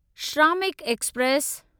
Shramik express